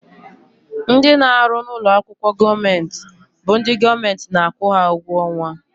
Ndị na-arụ n'ụlọakwụkwọ gọọmenti bụ ndị gọọmenti na-akwụ ha ụgwọ ọnwa